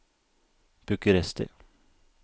Bucuresti